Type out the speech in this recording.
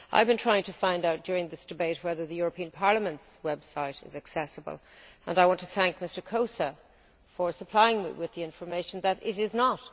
I have been trying to find out during this debate whether the European Parliament's website is accessible, and I want to thank Mr Kósa for supplying me with the information that it is not.